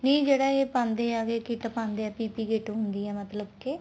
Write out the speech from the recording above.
ਨਹੀਂ ਜਿਹੜਾ ਇਹ ਪਾਉਂਦੇ ਆ PPT kit ਪਾਉਂਦੇ ਆ PPT ਕਿਤ ਹੁੰਦੀ ਆ ਮਤਲਬ ਕੇ